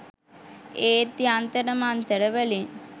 ඒත් යන්තර මන්තර වලින්